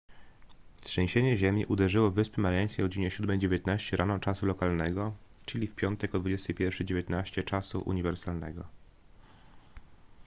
trzęsienie ziemi uderzyło w wyspy mariańskie o godzinie 7:19 rano czasu lokalnego czyli w piątek o 21:19 czasu uniwersalnego